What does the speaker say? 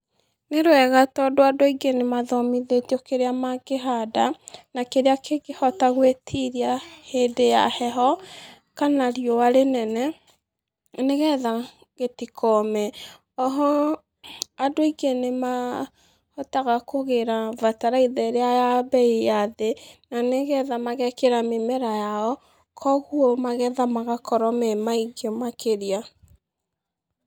Nĩ rwega tondũ andũ aingĩ nĩ mathomithĩtio kĩrĩa mangĩhanda, na kĩrĩa kĩngĩhota gwĩtiria hĩndĩ ya heho kana rĩũa rĩnene nĩ getha gĩtikome. Oho andũ aingĩ nĩ mahotaga kũgĩra bataraitha ĩrĩa ya mbei ya thĩ, na nĩgetha magekĩra mĩmera yao. Koguo magetha magakorwo me maingĩ makĩria.